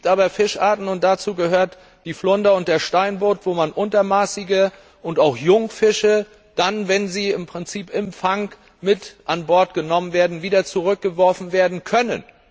Es gibt aber Fischarten, und dazu gehören die Flunder und der Steinbutt, bei denen man untermaßige Fische und auch Jungfische, wenn sie im Prinzip im Fang mit an Bord genommen werden, wieder zurückgeworfen werden können.